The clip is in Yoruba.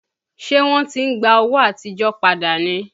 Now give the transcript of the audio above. Ṣé wọ́n ti ń gba owó àtijọ́ padà ni?